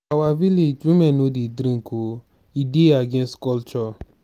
for our village women no dey drink oo e dey against culture.